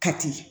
Kati